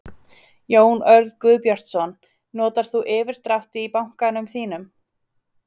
Jón Örn Guðbjartsson: Notar þú yfirdrátt í bankanum þínum?